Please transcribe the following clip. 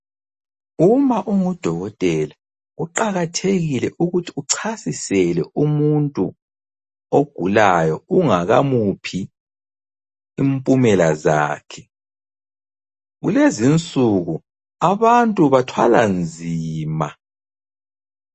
Uma ungudokotela kuqakathekile ukuthi uchasisele umuntu ogulayo ungakamuphi impumela zakhe. Kulezinsuku abantu bathwala nzima.